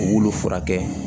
U y'olu furakɛ